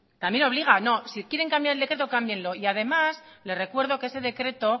también obliga no si quieren cambiar el decreto cámbienlo y además le recuerdo que ese decreto